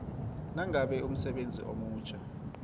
nangabe umsebenzi omutjha